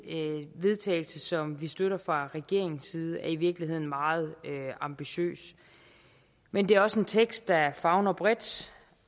vedtagelse som vi støtter fra regeringens side i virkeligheden er meget ambitiøs men det er også en tekst der favner bredt